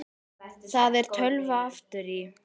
Það er tölva aftur í.